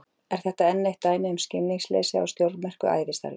Er þetta enn eitt dæmið um skilningsleysið á stórmerku ævistarfi